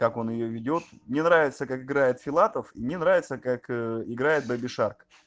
как он её ведёт мне нравится как играет филатов и мне нравится как играет бэби шарк